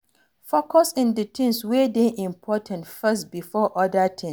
focus on di things wey dey important first before oda tins